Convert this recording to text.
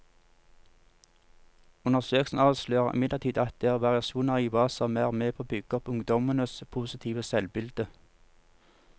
Undersøkelsen avslører imidlertid at det er variasjoner i hva som er med på å bygge opp ungdommenes positive selvbilde.